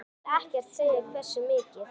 Þú vilt ekkert segja hversu mikið?